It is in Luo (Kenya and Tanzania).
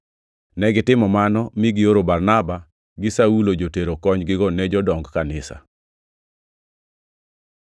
Negitimo mano mi gioro Barnaba gi Saulo jotero konygigo ne jodong kanisa.